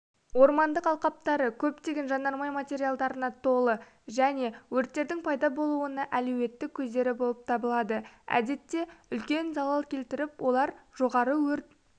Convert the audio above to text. ормандық алқаптары көптеген жанармай материалдарына толы және өрттердің пайда болуына әлеуетті көздері болып табылады әдетте үлкен залал келтіріп олар жоғары өрт